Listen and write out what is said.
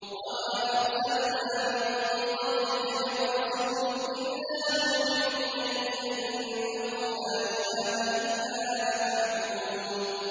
وَمَا أَرْسَلْنَا مِن قَبْلِكَ مِن رَّسُولٍ إِلَّا نُوحِي إِلَيْهِ أَنَّهُ لَا إِلَٰهَ إِلَّا أَنَا فَاعْبُدُونِ